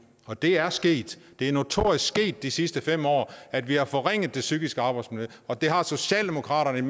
og det er sket det er notorisk sket de sidste fem år at vi har forringet det psykiske arbejdsmiljø og det har socialdemokratiet